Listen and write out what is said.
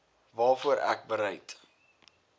waarvoor ek bereid